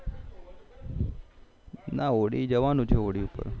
ના હોળી જવાનું છે હોળી પર